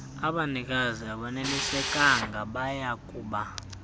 abanikazi abonelisekanga bayakuba